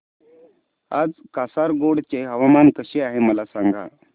आज कासारगोड चे हवामान कसे आहे मला सांगा